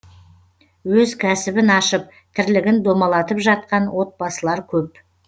өз кәсібін ашып тірлігін домалатып жатқан отбасылар көп